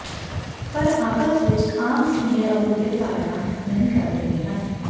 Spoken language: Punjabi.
ਪਰ ਆਪਸ ਵਿੱਚ ਆਮ ਸੀਨੀਅਰ ਅਹੁਦੇ ਪਾਇਆ ਨਹੀ ਕਰ ਰਹੇ ਹਨ